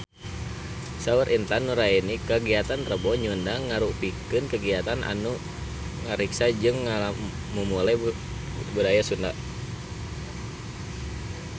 Saur Intan Nuraini kagiatan Rebo Nyunda mangrupikeun kagiatan anu ngariksa jeung ngamumule budaya Sunda